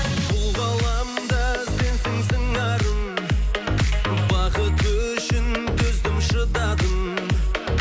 бұл ғаламда сенсің сыңарым бақыт үшін төздім шыдадым